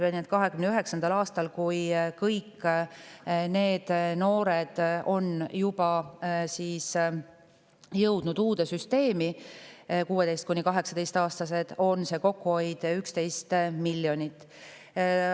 2029. aastal, kui kõik need 16–18-aastased noored on jõudnud uude süsteemi, on kokkuhoid 11 miljonit.